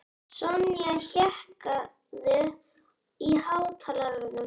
Sonja, hækkaðu í hátalaranum.